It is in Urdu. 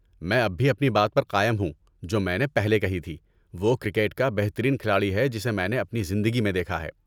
میں اب بھی اپنی بات پر قائم ہوں جو میں نے پہلے کہی تھی، وہ کرکٹ کا بہترین کھلاڑی ہے جسے میں نے اپنی زندگی میں دیکھا ہے۔